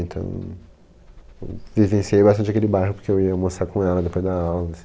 Então, vivenciei bastante aquele bairro porque eu ia almoçar com ela depois da aula.